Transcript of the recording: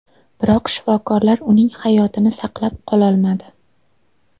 Biroq shifokorlar uning hayotini saqlab qololmadi.